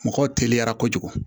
Mɔgɔw teliyara kojugu